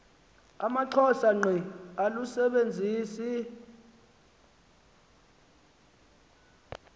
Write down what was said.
amaxhosa ngqe alusisebenzisi